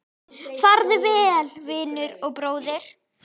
Farðu vel, vinur og bróðir!